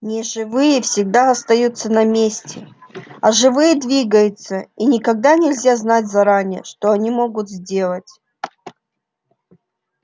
неживые всегда остаются на месте а живые двигаются и никогда нельзя знать заранее что они могут сделать